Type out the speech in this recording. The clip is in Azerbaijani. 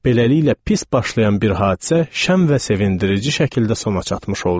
Beləliklə pis başlayan bir hadisə şən və sevindirici şəkildə sona çatmış oldu.